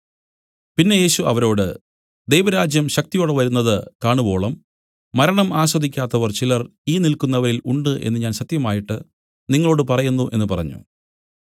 പിന്നെ യേശു അവരോട് ദൈവരാജ്യം ശക്തിയോടെ വരുന്നത് കാണുവോളം മരണം ആസ്വദിക്കാത്തവർ ചിലർ ഈ നില്ക്കുന്നവരിൽ ഉണ്ട് എന്നു ഞാൻ സത്യമായിട്ട് നിങ്ങളോടു പറയുന്നു എന്നു പറഞ്ഞു